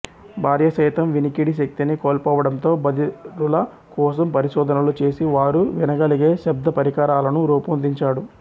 భార్య సైతం వినికిడి శక్తిని కోల్పోవడంతో బధిరుల కోసం పరిశోధనలు చేసి వారు వినగలిగే శబ్ద పరికరాలను రూపొందించాడు